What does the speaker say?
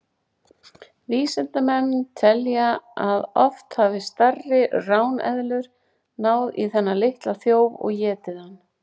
Vísindamenn telja að oft hafi stærri ráneðlur náð í þennan litla þjóf og étið hann.